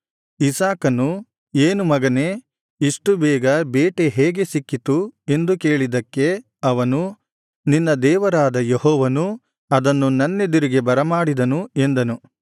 ಇಸಾಕನು ಏನು ಮಗನೇ ಇಷ್ಟು ಬೇಗ ಬೇಟೆ ಹೇಗೆ ಸಿಕ್ಕಿತು ಎಂದು ಕೇಳಿದ್ದಕ್ಕೆ ಅವನು ನಿನ್ನ ದೇವರಾದ ಯೆಹೋವನು ಅದನ್ನು ನನ್ನೆದುರಿಗೆ ಬರಮಾಡಿದನು ಎಂದನು